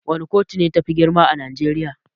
Wana kotu ne tafi girma a najeriya?